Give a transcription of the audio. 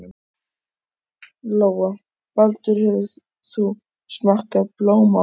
Lóa: Baldur, hefur þú smakkað blóm áður?